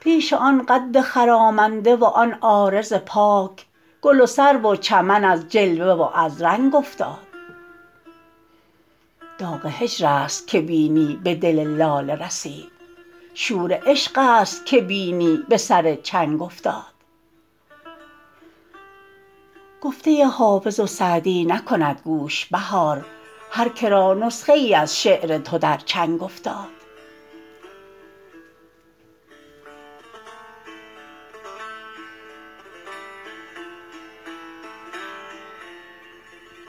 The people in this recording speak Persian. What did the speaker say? پیش آن قد خرامنده و آن عارض پاک گل و سرو و چمن از جلوه و از رنگ افتاد داغ هجر است که بینی به دل لاله رسید شور عشق است که بینی به سر چنگ افتاد گفته ی حافظ و سعدی نکند گوش بهار هرکه را نسخه ای از شعر تو در چنگ افتاد